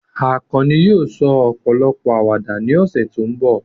Akanni yóò sọ ọ̀pọ̀lọpọ̀ àwàdà ní ọ̀sẹ̀ tó ń bọ̀.